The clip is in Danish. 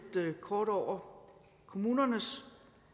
kort over kommunernes